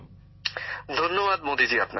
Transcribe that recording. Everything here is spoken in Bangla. গ্যামর জীঃ ধন্যবাদ মোদিজী আপনাকে